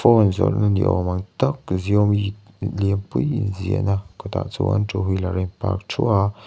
phone zawrh na ni awm ang tak xiomi lianpui in ziahna kawtah chuan two wheeler a in parh thuah a.